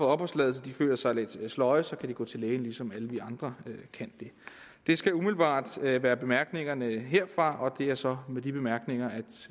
opholdstilladelse føler sig lidt sløje kan de gå til lægen ligesom alle vi andre kan det skal umiddelbart være være bemærkningerne herfra og det er så med de bemærkninger at